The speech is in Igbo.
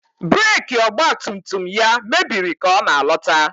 Breeki ọgba tum tum ya mebiri ka ọ na-alọta.